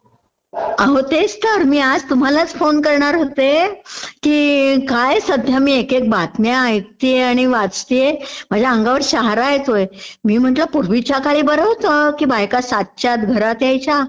अहो तेच तर मी आज तुम्हालाचं फोन करणार होते, की काय सध्या मी एक एक बातम्या ऐकतेय आणि वाचतेय, माझ्या अंगावर शहारा येतोय, मी म्हटल, पूर्वीच्या काळी बरं होतं, की बायका सातच्या आत घरात यायच्या